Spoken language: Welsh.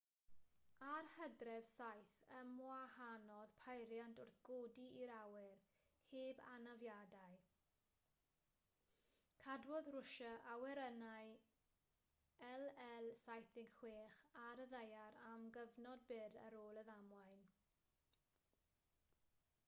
ar hydref 7 ymwahanodd peiriant wrth godi i'r awyr heb anafiadau cadwodd rwsia awyrennau il-76 ar y ddaear am gyfnod byr ar ôl y ddamwain